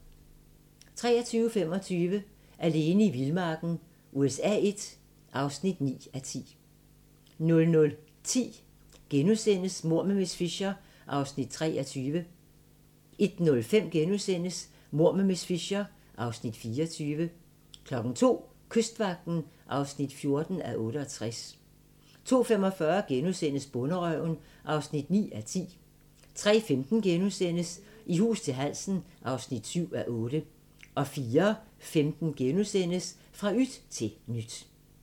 23:25: Alene i vildmarken USA I (9:10) 00:10: Mord med miss Fisher (23:13)* 01:05: Mord med miss Fisher (24:13)* 02:00: Kystvagten (14:68) 02:45: Bonderøven (9:10)* 03:15: I hus til halsen (7:8)* 04:15: Fra yt til nyt *